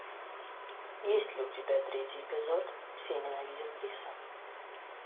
есть ли у тебя третий эпизод все ненавидят криса